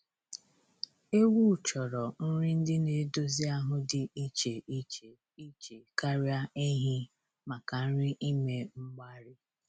Ewu chọrọ nri ndị na-edozi ahụ dị iche iche iche karịa ehi maka nri ime mgbari